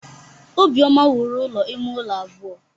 Obioma wuru ụlọ ime ụlọ abụọ.